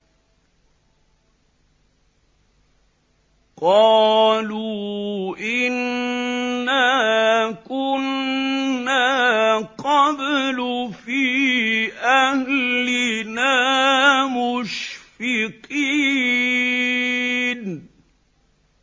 قَالُوا إِنَّا كُنَّا قَبْلُ فِي أَهْلِنَا مُشْفِقِينَ